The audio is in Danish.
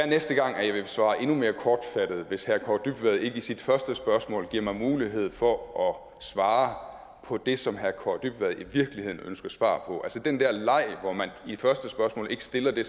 næste gang vil svare endnu mere kortfattet hvis herre kaare dybvad ikke i sit første spørgsmål giver mig mulighed for at svare på det som herre kaare dybvad i virkeligheden ønsker svar på den der leg hvor man i første spørgsmål ikke stiller det